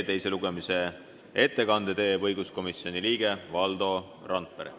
Teise lugemise ettekande teeb õiguskomisjoni liige Valdo Randpere.